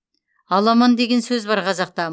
аламан деген сөз бар қазақта